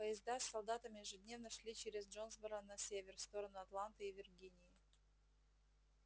поезда с солдатами ежедневно шли через джонсборо на север в сторону атланты и виргинии